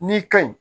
N'i ka ɲi